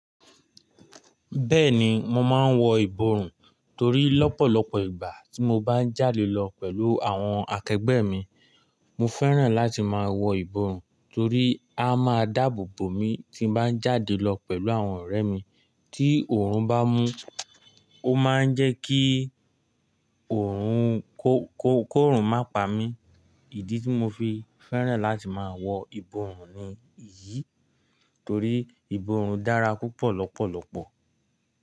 Bẹ́ẹ̀ni mo máa ń wọ ìborùn torí lọ́pọ̀lọpọ̀ ìgbà tí mo bá ń jáde lọ pẹ̀lú àwọn akẹgbẹ́ mi, mo fẹ́ràn láti máa wọ ìborùn torí á máa dáàbò bo mi tí bá ń jáde lọ pẹ̀lú àwọn ọ̀rẹ́ mi. Tí òórùn bá mú, ó máa ń jẹ́ kí òórùn kó, kó, kó rùn má pa mi. Ìdí tí mo fi fẹ́ràn láti máa wọ ìborùn ni èyí torí ìborùn dára púpọ̀ lọ́pọ̀lọpọ̀.